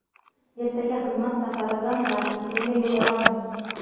Ertaga xizmat safari bilan Vashingtonga yo‘l olamiz.